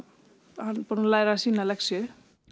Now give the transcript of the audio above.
hann er búinn að læra sína lexíu